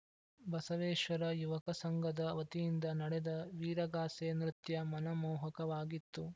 ಬಸವೇಶ್ವರ ಯುವಕ ಸಂಘದ ವತಿಯಿಂದ ನಡೆದ ವೀರಗಾಸೆ ನೃತ್ಯ ಮನ ಮೋಹಕವಾಗಿತ್ತು